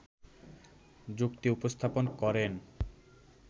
যুক্তি উপস্থাপন করেন